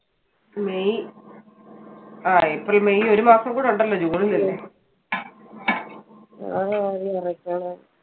May അഹ് ഇനി April May ഒരു മാസം കൂടി ഉണ്ടല്ലോ ജൂണിൽ അല്ലെ.